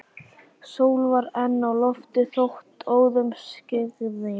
Sól var enn á lofti þótt óðum skyggði.